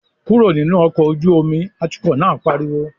"Kúrò nínú ọkọ̀ ojú omi!", atukọ̀ náà pariwo